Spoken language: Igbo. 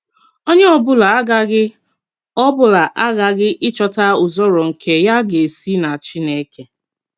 Onyé ọ̀bụ́là àghàghì ọ̀bụ́là àghàghì íchọ̀tà ùzòrò nke ya gà-èsì nà Chínèkè.